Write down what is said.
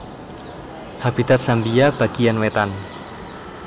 Habitat Zambia bagéyan wétan